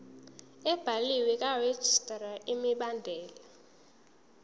ebhaliwe karegistrar imibandela